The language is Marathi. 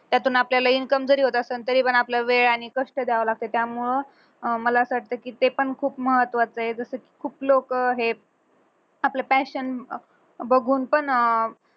त्यातून आपल्याला income जरी होत असेल तरीपण आपला वेळ आणि कष्ट द्यावा लागतो त्यामुळे अं मला असं वाटतं की ते पण खूप महत्त्वाचआहे जस की खूप लोक हे आपलं passion बघून पण